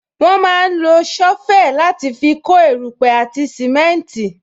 Wọn máa ń lo sovel láti fi kó erupe àti simenti